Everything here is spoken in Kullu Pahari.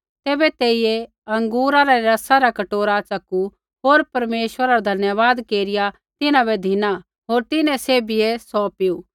तैबै तेइयै अँगूरा रै रसा रा कटोरा च़कू होर परमेश्वरा रा धन्यवाद केरिया तिन्हां बै धिना होर तिन्हां सैभियै सौ पीऊ